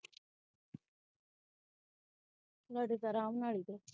ਲੜ੍ਹੇ ਤੇ ਅਰਾਮ ਨਾਲ ਹੀ ਤੇ